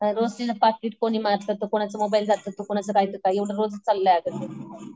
रोज तिथं पाकीट कोणी मारतं तर कोणाचं मोबाईल जातं. कोणाचं काय तर काय एवढं रोज चाललंय अगं